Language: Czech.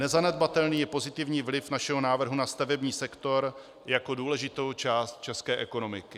Nezanedbatelný je pozitivní vliv našeho návrhu na stavební sektor jako důležitou část české ekonomiky.